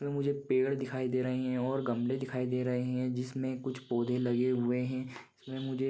मुझे पेड़ दिखाई दे रही है और गमले दिखाई दे रहे हैं जिसमें कुछ पौधे लगे हुए हैं मुझे--